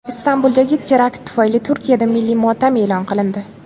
Istanbuldagi terakt tufayli Turkiyada milliy motam e’lon qilindi.